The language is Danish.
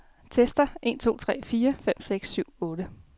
Tester en to tre fire fem seks syv otte.